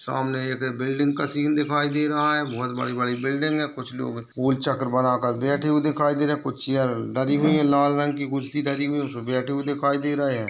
सामने एक बिल्डिंग का सीन दिखाई दे रहा है बहुत बड़ी-बड़ी बिल्डिंग है| कुछ लोग गोल चक्र बना कर बैठे हुए दिखाई दे रहे हैं कुछ चेयर लगी हुई है लाल रंग कि कुर्सी लगी हुई हैं उसपे बैठे हुए दिखाई दे रहे हैं।